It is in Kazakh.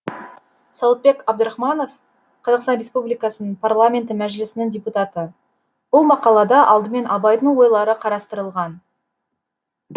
сауытбек абдрахманов қазақстан республикасының парламенті мәжілісінің депутаты бұл мақалада алдымен абайдың ойлары қарастырылған